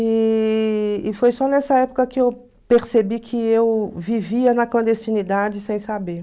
E e foi só nessa época que eu percebi que eu vivia na clandestinidade sem saber.